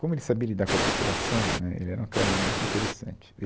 Como ele sabia lidar com a população, né, ele era um cara muito interessante.